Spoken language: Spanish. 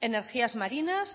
energías marinas